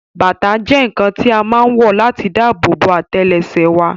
Bàtà jẹ́ ǹǹkan tí a má ǹ wọ̀ láti dáàbò bo àtẹ́lẹsẹ̀ wa